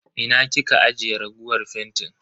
Ina kika ajiye raguwar fentin?